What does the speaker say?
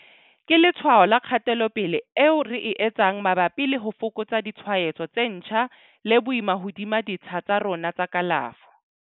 Ke letshwao la kgatelopele eo re e etsang mabapi le ho fokotsa ditshwaetso tse ntjha le boima hodima ditsha tsa rona tsa kalafo.